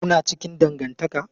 Kuna cikin dangantaka?